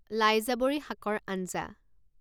লাইজাবৰি শাকৰ আঞ্জা